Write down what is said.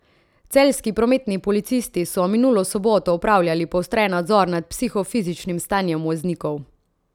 Celjski prometni policisti so minulo soboto opravljali poostren nadzor nad psihofizičnim stanjem voznikov.